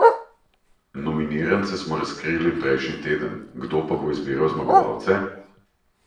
Nominirance smo razkrili prejšnji teden, kdo pa bo izbiral zmagovalce?